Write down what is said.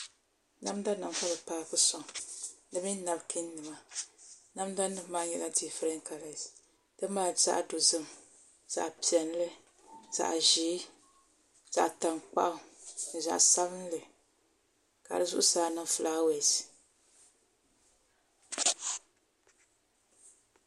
Namda nim ka bi paaki sɔŋ di mini napkiin nima namda nim maa nyɛla kala difirɛns ti mali zaɣ dozim zaɣ piɛlli zaɣ ʒiɛ zaɣ tankpaɣu ni zaɣ sabinli ka di zuɣusaa niŋ fulaawɛs